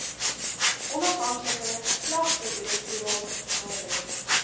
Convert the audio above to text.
onafhanklike klagtedirektoraat nader